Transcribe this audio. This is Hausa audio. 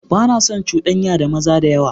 Ba na son cudanya da maza da yawa.